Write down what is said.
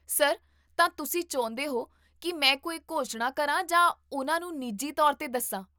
Sir, ਤਾਂ ਤੁਸੀਂ ਚਾਹੁੰਦੇ ਹੋ ਕੀ ਮੈਂ ਕੋਈ ਘੋਸ਼ਣਾ ਕਰਾਂ ਜਾਂ ਉਹਨਾਂ ਨੂੰ ਨਿੱਜੀ ਤੌਰ 'ਤੇ ਦੱਸਾਂ?